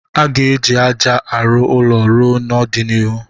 A ga-eji ájá rụọ ụlọ n'ọdịnihu